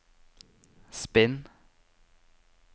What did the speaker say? spinn